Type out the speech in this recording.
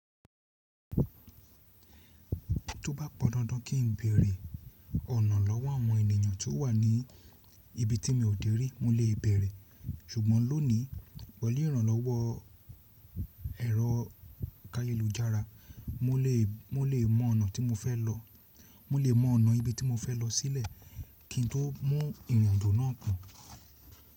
Tó bá pọn dandan kí n béèrè ọ̀nà lọ́wọ́ àwọn ènìyàn tó wà ní ibi tí mi ò dé rí mo lè béèrè. Ṣùgbọ́n lónìí pẹ̀lú ìrànlọ́wọ́ ẹ̀rọ káyélujára, mo lè mọ ọ̀nà tí mo fẹ́ lọ, mo lè mọ ọ̀nà ibi tí mo fẹ́ lọ sílẹ̀ kí n tó mu ìrìn àjò nà án pọn.